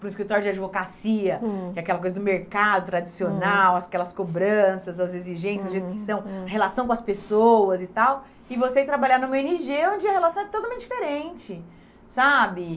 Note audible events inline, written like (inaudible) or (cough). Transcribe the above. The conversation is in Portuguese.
para o escritório de advocacia, hum, que é aquela coisa do mercado tradicional, aquelas cobranças, as exigências, (unintelligible) a relação com as pessoas e tal, e você ir trabalhar numa ó ene gê, onde a relação é totalmente diferente, sabe?